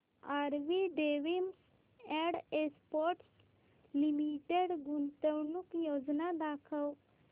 RV denims and exports limited गुंतवणूक योजना दाखव